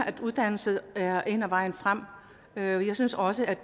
at uddannelse er en af vejene frem og jeg synes også at